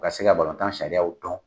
U ka se ka balontan sariyaw dɔn.